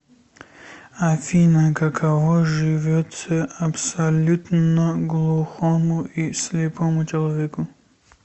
афина каково живется абсолютно глухому и слепому человеку